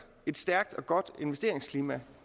et stærkt og godt investeringsklima